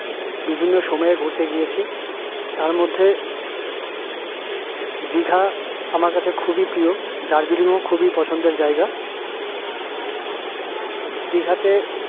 বিভিন্ন সময় ঘুরতে গিয়েছি তার মধ্যে দিঘা আমার কাছে খুবই প্রিয় দার্জিলিং ও আমার খুবই পছন্দের জায়গা দিঘা তে